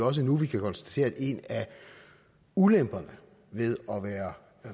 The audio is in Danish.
også nu vi kan konstatere at en af ulemperne ved at være